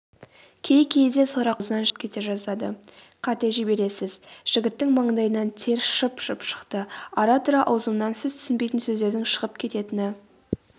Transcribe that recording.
кей-кейде сорақы деген сөз ауызынан шығып кете жаздады қате жібересіз.жігіттің маңдайынан тер шып-шып шықты.ара-тұра ауызымнан сіз түсінбейтін сөздердің шығып кететіні